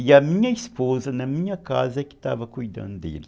E a minha esposa na minha casa é que estava cuidando dele.